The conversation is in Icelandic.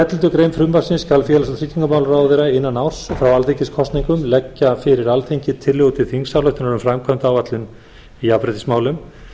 elleftu greinar frumvarpsins skal félags og tryggingamálaráðherra innan árs frá alþingiskosningum leggja fyrir alþingi tillögur til þingsályktunar um framkvæmdaráætlun í jafnréttismálum